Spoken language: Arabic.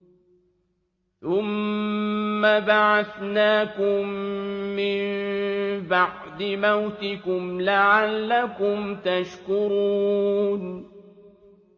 ثُمَّ بَعَثْنَاكُم مِّن بَعْدِ مَوْتِكُمْ لَعَلَّكُمْ تَشْكُرُونَ